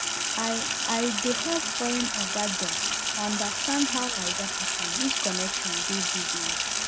i i dey help foreign oga dem understand how naija people use connection do business